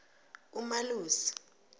umalusi